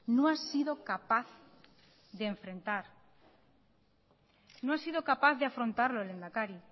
no ha sido capaz de enfrentar no ha sido capaz de afrontarlo lehendakari